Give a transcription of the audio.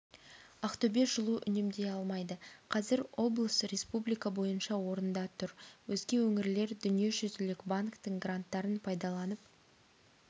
ақтөбе жылу үнемдей алмайды қазір облыс республика бойынша орында тұр өзге өңірлер дүниежүзілік банктің гранттарын пайдаланып